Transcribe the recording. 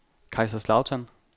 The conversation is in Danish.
Kaiserslautern